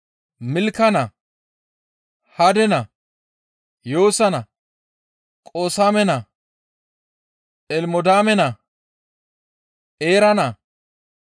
Milka naa, Hade naa, Yoosa naa, Qoosaame naa, Elimodaame naa, Eera naa,